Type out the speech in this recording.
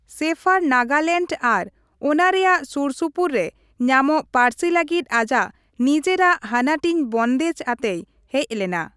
ᱥᱮᱯᱷᱟᱨ ᱱᱟᱜᱟᱞᱮᱱᱰ ᱟᱨ ᱚᱱᱟ ᱨᱮᱭᱟᱜ ᱥᱩᱨᱥᱩᱯᱩᱨ ᱨᱮ ᱧᱟᱢᱚᱜ ᱯᱟᱹᱨᱥᱤ ᱞᱟᱹᱜᱤᱫ ᱟᱡᱟᱜ ᱱᱤᱡᱮᱨᱟᱜ ᱦᱟᱹᱱᱟᱹᱴᱤᱧ ᱵᱚᱱᱫᱷᱮᱡᱽ ᱟᱛᱮᱭ ᱦᱮᱡ ᱞᱮᱱᱟ ᱾